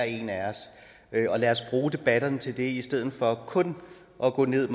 en af os lad os bruge debatterne til det i stedet for kun at gå ned